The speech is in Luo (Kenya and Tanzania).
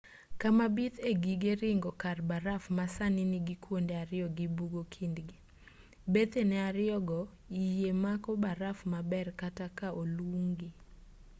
kama bith e gige ringo kar baraf ma sani nigi kuonde ariyo gi bugo kindgi bethene ariyogo yie mako baraf maber kata ka olung'gi